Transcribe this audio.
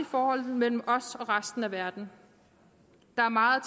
forholdet mellem os og resten af verden der er meget